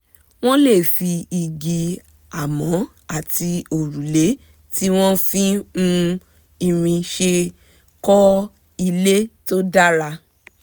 wọ́n lè fi igi amọ̀ àti òrùlé tí wọ́n fi um irin ṣe kọ́ ilé tó dára um